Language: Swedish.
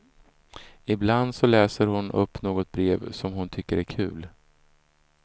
Ibland så läser hon upp något brev som hon tycker är kul.